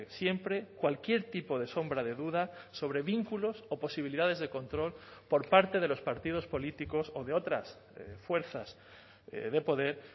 siempre cualquier tipo de sombra de duda sobre vínculos o posibilidades de control por parte de los partidos políticos o de otras fuerzas de poder